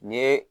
N ye